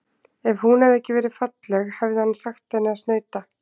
Ef hún hefði ekki verið falleg hefði hann sagt henni að snauta.